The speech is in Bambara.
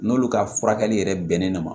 N'olu ka furakɛli yɛrɛ bɛnnen don ma